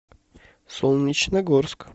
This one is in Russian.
солнечногорск